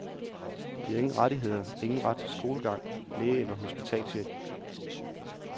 De har ingen rettigheder, ingen ret til skolegang, læge eller hospitalshjælp.